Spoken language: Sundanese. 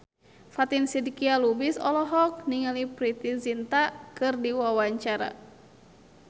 Fatin Shidqia Lubis olohok ningali Preity Zinta keur diwawancara